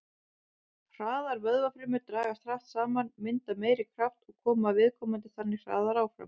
Hraðar vöðvafrumur dragast hratt saman, mynda meiri kraft og koma viðkomandi þannig hraðar áfram.